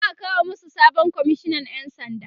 za'a kawo masu sabon komishinan ƴan sanda